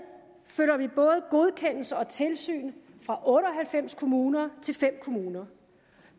flytter vi både godkendelse og tilsyn fra otte og halvfems kommuner til fem kommuner